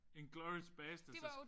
Inglourious bastards er